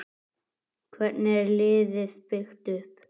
Hvernig er liðið byggt upp?